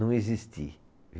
Não existir.